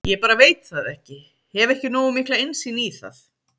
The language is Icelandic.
Ég bara veit það ekki, hef ekki nógu mikla innsýn í það?